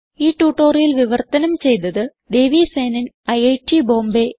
ഈ ട്യൂട്ടോറിയൽ വിവർത്തനം ചെയ്തത് ദേവി സേനൻ ഐറ്റ് ബോംബേ